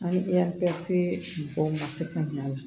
An bɛ taa se mɔgɔw ma se ka ɲɛ a la